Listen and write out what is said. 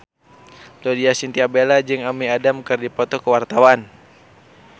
Laudya Chintya Bella jeung Amy Adams keur dipoto ku wartawan